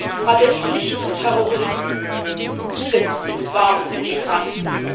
Denn alle Nicht Terroristen sind und waren Migranten.